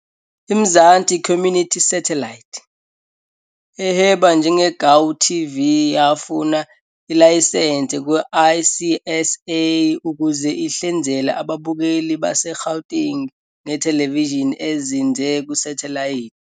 IMzansi Community Satellite, ehweba njengeGauTV yafuna ilayisense kwa-ICASA ukuze ihlinzeke ababukeli baseGauteng ngethelevishini ezinze kusathelayithi.